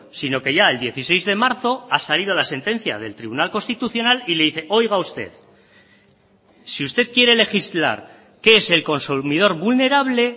sino que ya el dieciséis de marzo ha salido la sentencia del tribunal constitucional y le dice oiga usted si usted quiere legislar qué es el consumidor vulnerable